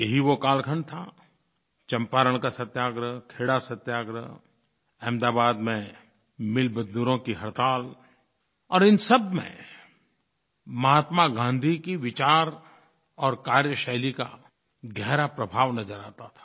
यही वो कालखंड था चंपारण का सत्याग्रह खेड़ा सत्याग्रह अहमदाबाद में मिलमज़दूरों की हड़ताल और इन सबमें महात्मा गाँधी की विचार और कार्यशैली का गहरा प्रभाव नज़र आता था